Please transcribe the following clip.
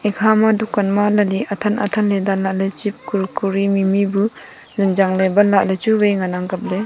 hama dukan ma lali athan athan ley dan lah ley chip kur kure mimi bu zing yang ley ban lah ley chu vai ngan ang kap ley.